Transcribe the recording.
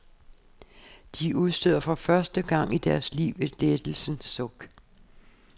De udstøder for første gang i deres liv et lettelsens suk.